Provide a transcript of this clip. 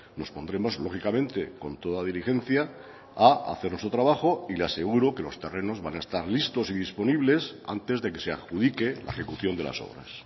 nos pondremos lógicamente con toda diligencia a hacer nuestro trabajo y le aseguro que los terrenos van a estar listos y disponibles antes de que se adjudique la ejecución de las obras